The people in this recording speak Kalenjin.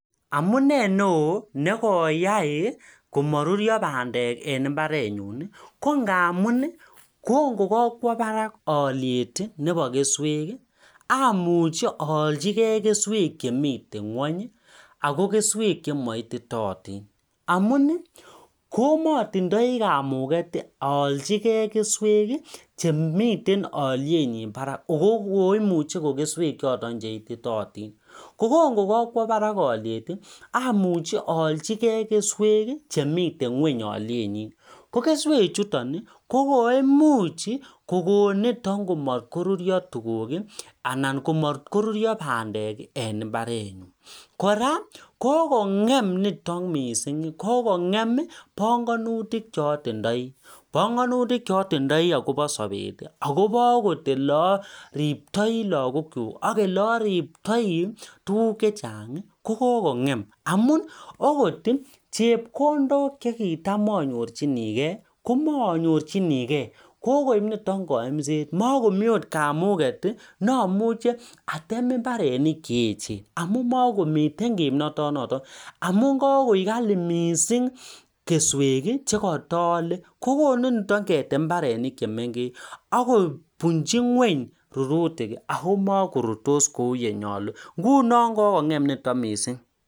Amunei neon nekoyai komarurio bandek en imbarenyun ko ngamun kokongakwa Barak aliet Nebo keswek amuch ayalchigei keswek Chemiten ngwany ako keswek chemaititotin amun komatindoi kamuget ayalchi gei keswek Chemiten alyenyin Barak akoimiche ko keswek choton cheititotin kokongakwa Barak aliet amuch ayalchi gei kewek chemiten ngweny alienyin kokeswek chuton koimuche kokon niton komatkorutio tuguk anan komatkorutio bandek en imbarenyun koraa kokongem niton kora kokongem banganutik chatindoi banganutik chatindoi Koba sabet akobo okot olaribyoi lagok chuk ak yelariptoi tuguk chechang kokongem amun okot chepkondok chekitam anyorchinigei komanyorchinigei kokoib niton kayemset kotkomii okot kamuget amuche atem imbarenik cheyechen amun makomi kimnatet noton amun kakoi Kali mising keswek chekatayale kokonu ketem imbaret chemengechen akobunchi ngweny rururtik akomarurtos Kou yelenyalundoi ngunon kokongem niton mising